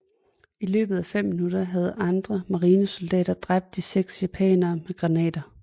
I løbet af fem minutter havde andre marinesoldater dræbt de 6 japanere med granater